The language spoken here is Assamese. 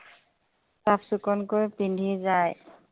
চাফ-চিকুনকৈ পিন্ধি যায়।